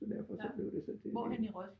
Så derfor så blev det så det